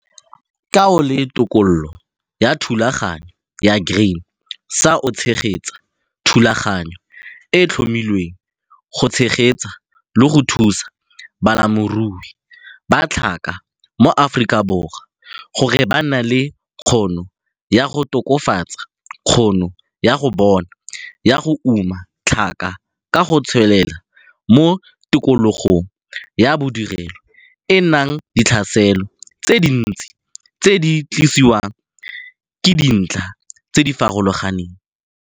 KA O LE TOKOLOLO YA THULAGANYO YA GRAIN SA O TSHEGETSA THULAGANYO E E TLHOMILWENG GO TSHEGETSA LE GO THUSA BALEMIRUI BA TLHAKA MO AFORIKABORWA GORE BA NNE LE KGONO YA GO TOKAFATSA KGONO YA BONA YA GO UMA TLHAKA KA GO TSWELELA MO TIKOLOGONG YA BODIRELO E E NANG DITLHASELO TSE DINTSI TSE DI TLISWANG KE DINTLHA TSE DI FAROLOGANENG.